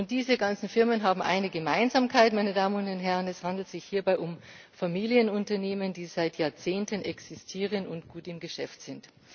Diese ganzen Firmen haben eine Gemeinsamkeit, meine Damen und Herren Es handelt sich hierbei um Familienunternehmen, die seit Jahrzehnten existieren und gut im Geschäft sind.